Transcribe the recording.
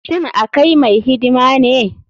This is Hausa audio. Shin akai mai hidima ne.